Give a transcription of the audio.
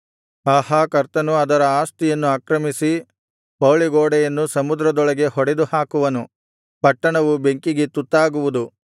ಆಹಾ ಕರ್ತನು ಅದರ ಆಸ್ತಿಯನ್ನು ಆಕ್ರಮಿಸಿ ಪೌಳಿಗೋಡೆಯನ್ನು ಸಮುದ್ರದೊಳಗೆ ಹೊಡೆದುಹಾಕುವನು ಪಟ್ಟಣವು ಬೆಂಕಿಗೆ ತುತ್ತಾಗುವುದು